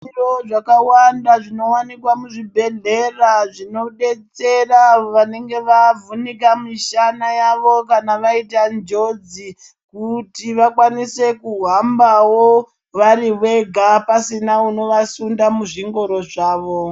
Zviro zvakawana zvinowanikwa muzvibhedhlera zvinodetsera avo vanenge vavhunika mishana yawo kana vaita njodzi kuti vakwanisewo kuhamba vari Vega pasina anovasunda muzvingoro zvawo.